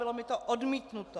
Bylo mi to odmítnuto!